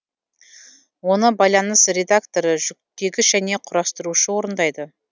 оны байланыс редакторы жүктегіш жөне құрастырушы орындайды